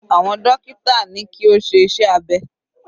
Àwọn dókítà ní kí ó ṣe iṣẹ́ abẹ.